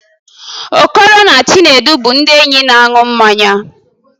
Okoro na Chinedu bụ ndị enyi na-aṅụ mmanya